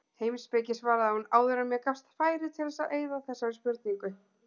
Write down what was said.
Heimspeki svaraði hún, áður en mér gafst færi til að eyða þessari spurningu.